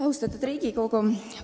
Austatud Riigikogu!